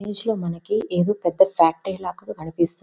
ఈ ఇమేజ్ లో మనకీ ఎదో పెద్ద ఫ్యాక్టరీ లాగా కనిపిస్తుంది.